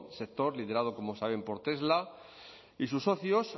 sector liderado como saben por tesla y sus socios